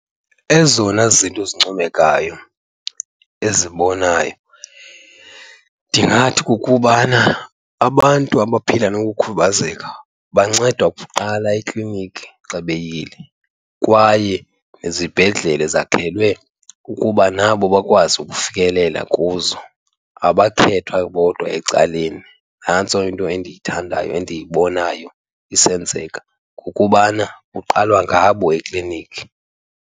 Ezona zinto zincomekayo ezibonayo ndingathi kukubana abantu abaphila nokukhubazeka bancedwa kuqala ekliniki xa beyile kwaye nezibhedlele zakhelwe ukuba nabo bakwazi ukufikelela kuzo, abakhethwa bodwa ecaleni. Nantso into endiyithandayo endiyibonayo isenzeka, kukubana kuqalwa ngabo ekliniki.